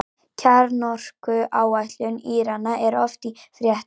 Kjarnorkuáætlun Írana er oft í fréttum.